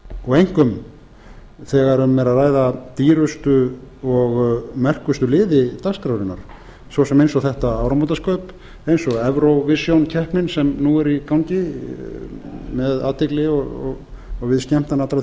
og einkum þegar um er að ræða dýrustu og merkustu liði dagskrárinnar svo sem eins og þetta áramótaskaup eins og evrovision keppnina sem nú er í gangi með athygli og við skemmtan allrar